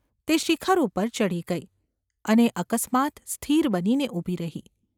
તે શિખર ઉપર ચઢી ગઈ, અને અકસ્માત સ્થિર બનીને ઊભી રહી.